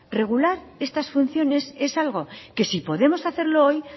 regular estas funciones es algo que si podemos hacerlo hoy